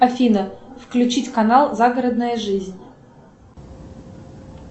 афина включить канал загородная жизнь